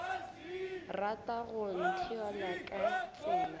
rata go ntheola ka tsela